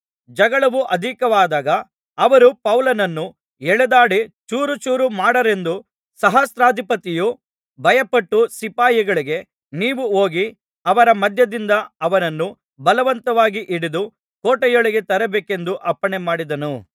ಜಗಳವು ಅಧಿಕವಾದಾಗ ಅವರು ಪೌಲನನ್ನು ಎಳೆದಾಡಿ ಚೂರುಚೂರು ಮಾಡಾರೆಂದು ಸಹಸ್ರಾಧಿಪತಿಯು ಭಯಪಟ್ಟು ಸಿಪಾಯಿಗಳಿಗೆ ನೀವು ಹೋಗಿ ಅವರ ಮಧ್ಯದಿಂದ ಅವನನ್ನು ಬಲವಂತವಾಗಿ ಹಿಡಿದು ಕೋಟೆಯೊಳಗೆ ತರಬೇಕೆಂದು ಅಪ್ಪಣೆ ಮಾಡಿದನು